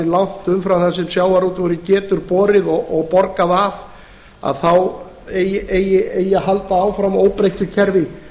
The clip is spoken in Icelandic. langt umfram það sem sjávarútvegurinn getur borið og borgað af eigi að halda áfram óbreyttu kerfi